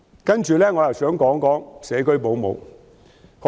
接着，我想談談社區保姆。